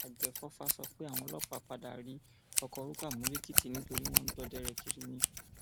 àgbẹfọfà sọ pé àwọn ọlọpàá padà rí ọkọ rúkà mú lèkìtì nítorí wọn ń dọdẹ rẹ kiri ni